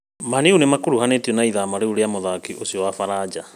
Man-U nĩmakuruhanĩtio na ĩthamia rĩu rĩa mũthaki ũcio wa baranja